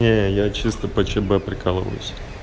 не я чисто по чб прикалываюсь